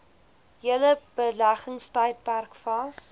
hele beleggingstydperk vas